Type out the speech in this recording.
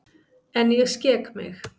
En ég skek mig.